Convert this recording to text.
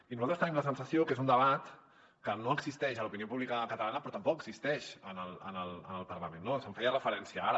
i nosaltres tenim la sensació que és un debat que no existeix a l’opinió pública catalana però tampoc existeix en el parlament no s’hi feia referència ara